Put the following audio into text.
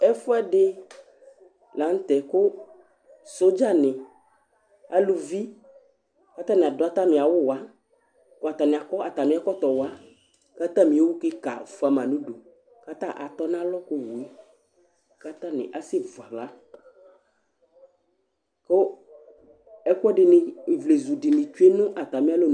Ɛfʋɛdɩ la nʋ tɛ kʋ sodzanɩ aluvi kʋ atanɩ adʋ atamɩ awʋwa kʋ atanɩ akɔ atamɩ ɛkɔtɔ wa kʋ atamɩ owu kɩka fʋa ma nʋ udu kʋ ata atɔnalɔ ka owu yɛ kʋ atanɩ asɛvu aɣla kʋ ɛkʋɛdɩnɩ, ivlezu dɩnɩ tsue nʋ atamɩ alɔnu